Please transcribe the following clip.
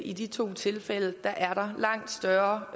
i de to tilfælde er langt større